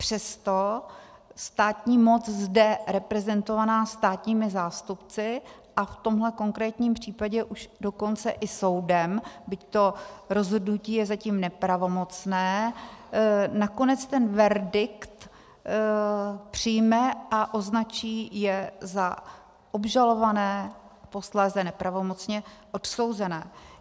Přesto státní moc zde reprezentovaná státními zástupci, a v tomhle konkrétním případě už dokonce i soudem, byť to rozhodnutí je zatím nepravomocné, nakonec ten verdikt přijme a označí je za obžalované, posléze nepravomocně odsouzené.